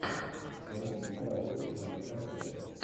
найди киноработу в жанре концерт